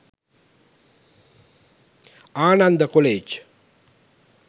Ananda college